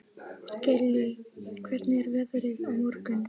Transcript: Gillý, hvernig er veðrið á morgun?